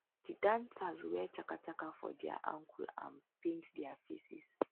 di dancers wear chaka chaka for dia ankle and paint dia faces